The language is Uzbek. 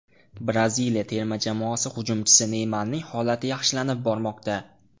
Braziliya terma jamoasi hujumchisi Neymarning holati yaxshilanib bormoqda.